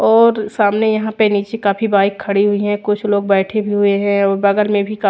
और सामने यहाँ पे नीचे काफी बाइक खड़ी हुई है कुछ लोग बैठे भी हुए है और बगल में भी कफ--